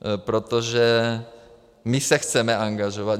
Protože my se chceme angažovat.